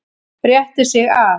Rétti sig af.